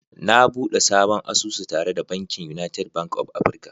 Na bude sabon asusu tare da bankin United Bank of Africa